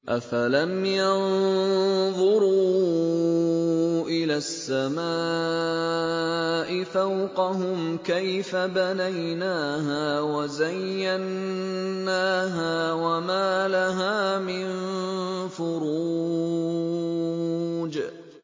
أَفَلَمْ يَنظُرُوا إِلَى السَّمَاءِ فَوْقَهُمْ كَيْفَ بَنَيْنَاهَا وَزَيَّنَّاهَا وَمَا لَهَا مِن فُرُوجٍ